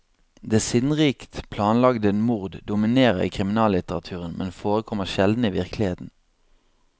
Det sinnrikt planlagte mord dominerer i kriminallitteraturen, men forekommer sjelden i virkeligheten.